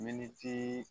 Miniti